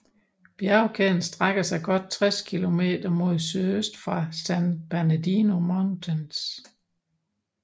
Bjergkæden strækker sig godt 60 km mod sydøst fra San Bernardino Mountains